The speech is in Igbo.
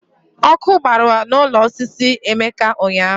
Ọkụ gbara n'ụlọ osisi Emeka ụnyahụ.